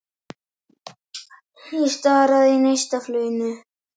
Ég stari á þig í neistafluginu.